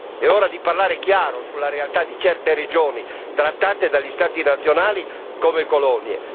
È ora di parlare chiaro sulla realtà di certe regioni, trattate dagli Stati nazionali come colonie.